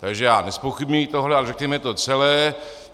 Takže já nezpochybňuji tohle, ale řekněme to celé.